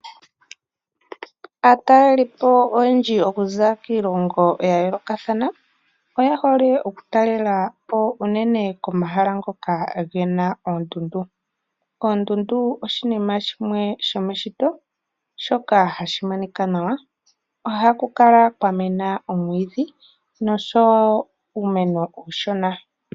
Aatalelipo oyendji okuza kiilongo yayoolokathana oye hole oku talelapo uunene komahala ngoka gena oondundu. Oondundu oshinima shimwe shomeshito shoka hashi monika nawa. Ohaku kala kwa mena omwiidhi noshowo uumeno uushona.